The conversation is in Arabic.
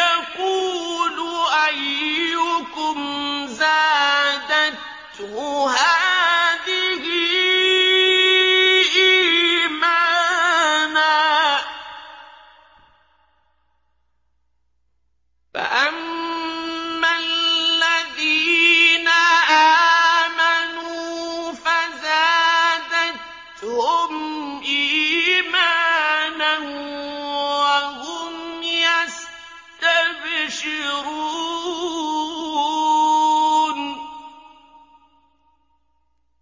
يَقُولُ أَيُّكُمْ زَادَتْهُ هَٰذِهِ إِيمَانًا ۚ فَأَمَّا الَّذِينَ آمَنُوا فَزَادَتْهُمْ إِيمَانًا وَهُمْ يَسْتَبْشِرُونَ